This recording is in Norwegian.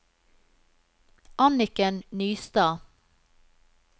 Anniken Nystad